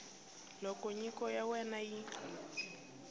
loko nyiko ya wena yi